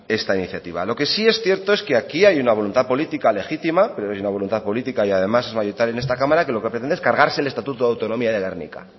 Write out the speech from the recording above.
esta iniciativa lo que sí es cierto es que aquí hay una voluntad política legítima creo que es una voluntad política y además mayoritaria en esta cámara que lo que pretende es cargarse el estatuto de autonomía de gernika